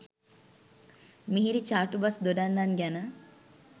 මිහිරි චාටු බස් දොඩන්නන් ගැන